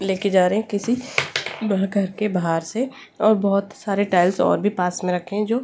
लेके जा रहे हैं किसी घर के बाहर से और बहुत सारे टाइल्स और भी पास में रहते हैं जो --